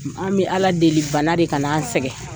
An be Ala deli bana de kan'a sɛgɛ.